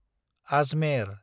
Ajmer